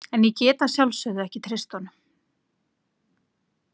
En ég get að sjálfsögðu ekki treyst honum.